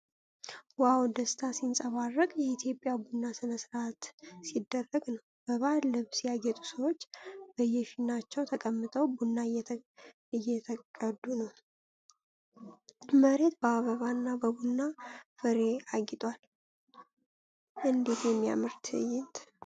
ዋው! ደስታ ሲንጸባረቅ! የኢትዮጵያ ቡና ሥነ ሥርዓት ሲደረግ ነው። በባህል ልብስ ያጌጡ ሰዎች በየፊናቸው ተቀምጠው ቡና እየተቀዱ ነው። መሬቱ በአበባና በቡና ፍሬ አጊጧል። እንዴት የሚያምር ትዕይንት!